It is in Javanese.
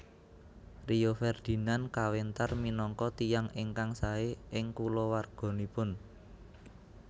Rio Ferdinand kawentar minangka tiyang ingkang sae ing kulawarganipun